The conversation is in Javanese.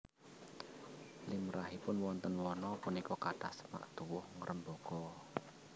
Limrahipun wonten wana punika kathah semak tuwuh ngrembaka